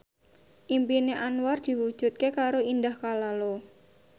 impine Anwar diwujudke karo Indah Kalalo